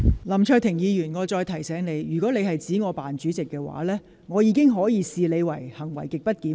林卓廷議員，我再提醒你，如果你指我"扮主席"，我會視之為行為極不檢點。